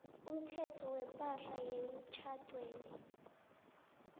umthetho wepahla yemtjhadweni